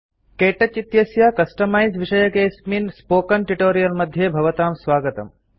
के touch इत्यस्य customise विषयकेऽस्मिन् spoken tutorial मध्ये भवतां स्वागतम्